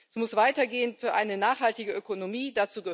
Es muss weitergehen für eine nachhaltige Ökonomie.